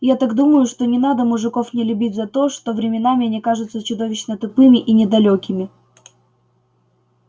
я так думаю что не надо мужиков не любить за то что временами они кажутся чудовищно тупыми и недалёкими